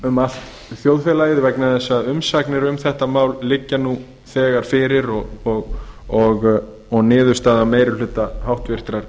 um allt þjóðfélagið vegna þess að umsagnir um þetta mál liggja nú þegar fyrir og niðurstaða meiri hluta háttvirtrar